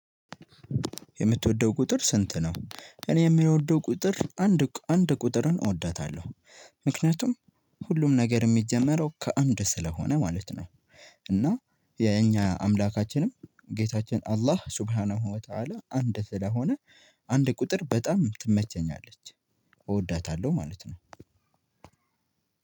የምትወደው ቁጥር ስንት ነው? እኔ የምወደው ቁጥር አንድ አንድ ቁጥርን እወዳታለሁ። ምክንያቱም ሁሉም ነገር የሚጀመረው ከአንድ ስለሆነ ማለት ነው። እና የኛ አምላካችንም ጌታችን አላህ ሱብሃን ወተአለ አንድ ስለሆነ አንድ ቁጥር በጣም ትመቸኛለች። እወዳታለሁ ማለት ነው።